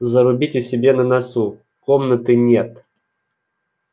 зарубите себе на носу комнаты нет